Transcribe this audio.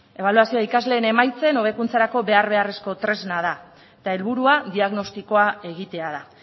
ebaluazio ikasleen emaitzen hobekuntzarako behar beharrezko tresna da eta helburua diagnostikoa egitea da